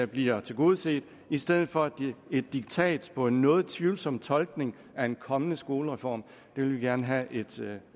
bliver tilgodeset i stedet for at lave et diktat på en noget tvivlsom tolkning af en kommende skolereform det vil vi gerne have et